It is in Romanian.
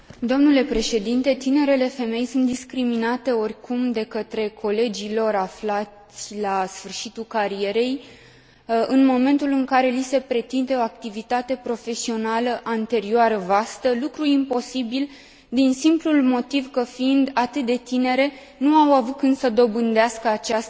Tinerele femei sunt discriminate oricum de către colegii lor aflați la sfârșitul carierei, în momentul în care li se pretinde o activitate profesională anterioară vastă, lucru imposibil din simplul motiv că fiind atât de tinere nu au avut când să dobândească această experiență.